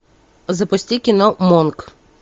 запусти кино монк